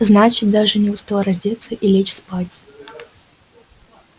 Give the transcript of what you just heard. значит даже не успел раздеться и лечь спать